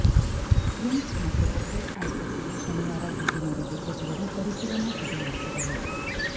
RIMS ಮತ್ತು OPEC ಆಸ್ಪತ್ರೆಗೆ ಶನಿವಾರ ಭೇಟಿ ನೀಡಿದ್ದ ಸಚಿವರು ಪರಿಶೀಲನಾ ಸಭೆ ನಡೆಸಿದರು